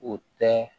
O tɛ